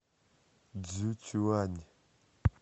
цзюцюань